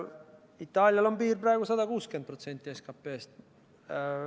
Itaalia piir on praegu 160% SKP-st.